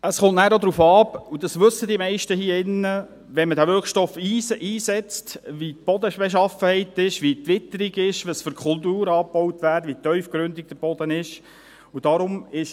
Es kommt nachher auch darauf an – die meisten hier in diesem Saal wissen das –, wie die Bodenbeschaffenheit ist, wie die Witterung ist, welche Kulturen angebaut werden, wie tiefgründig der Boden ist, wenn man diesen Wirkstoff einsetzt.